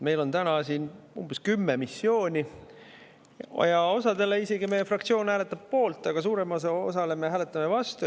Meil on täna siin umbes kümme missiooni ja meie fraktsioon hääletab isegi mõne poolt, aga suuremale osale me hääletame vastu.